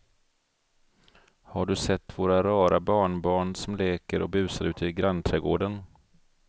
Har du sett våra rara barnbarn som leker och busar ute i grannträdgården!